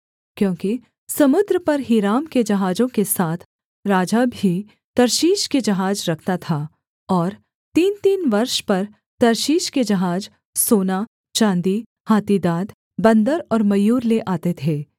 क्योंकि समुद्र पर हीराम के जहाजों के साथ राजा भी तर्शीश के जहाज रखता था और तीनतीन वर्ष पर तर्शीश के जहाज सोना चाँदी हाथी दाँत बन्दर और मयूर ले आते थे